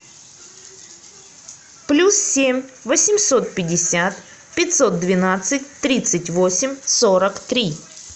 плюс семь восемьсот пятьдесят пятьсот двенадцать тридцать восемь сорок три